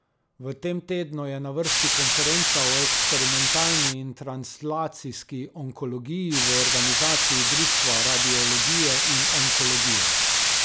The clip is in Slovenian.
V tem tednu je na vrsti Konferenca o eksperimentalni in translacijski onkologiji v organizaciji Društva radiologije in onkologije.